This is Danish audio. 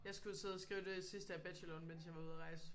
Jeg skulle sidde og skrive det sidste af bacheloren mens jeg var ude at rejse